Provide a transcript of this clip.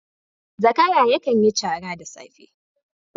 Zakara yakan yi cara da safe